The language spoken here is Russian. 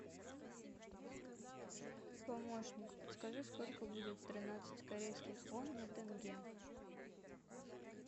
помощник подскажи сколько будет тринадцать корейских вон на тенге